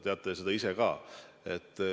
Teate seda ise ka.